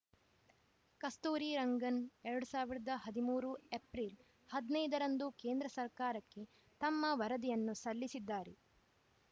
ಕಸ್ತೂರಿರಂಗನ್‌ ಎರಡ್ ಸಾವಿರದ ಹದಿಮೂರು ಏಪ್ರಿಲ್‌ ಹದಿನೈದ ರಂದು ಕೇಂದ್ರ ಸರ್ಕಾರಕ್ಕೆ ತಮ್ಮ ವರದಿಯನ್ನು ಸಲ್ಲಿಸಿದ್ದರು